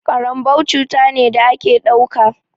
Ƙaranbau cuta ne da a ke ɗauka.